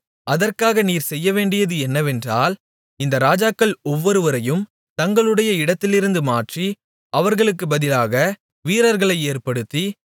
அதற்காக நீர் செய்யவேண்டியது என்னவென்றால் இந்த ராஜாக்கள் ஒவ்வொருவரையும் தங்களுடைய இடத்திலிருந்து மாற்றி அவர்களுக்குப் பதிலாக வீரர்களை ஏற்படுத்தி